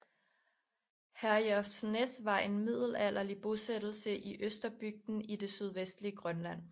Herjolfsnæs var en middelalderlig bosættelse i Østerbygden i det sydvestlige Grønland